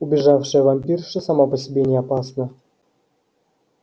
убежавшая вампирша сама по себе не опасна